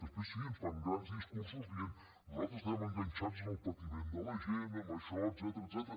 després sí ens fan grans discursos dient nosaltres estem enganxats al patiment de la gent a això etcètera